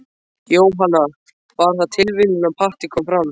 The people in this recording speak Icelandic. Jóhanna: Var það tilviljun að Patti kom fram?